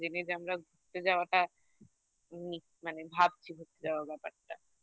জেনে যে আমরা ঘুরতে যাওয়াটা মানে ভাবছি ঘুরতে যাওয়ার ব্যাপারটা